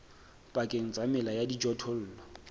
pakeng tsa mela ya dijothollo